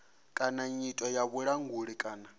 kana nyito ya vhulanguli kana